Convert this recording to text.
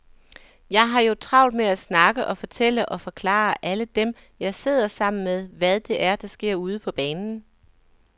Jeg har jo travlt med at snakke og fortælle og forklare alle dem, jeg sidder sammen med, hvad det er, der sker ude på banen.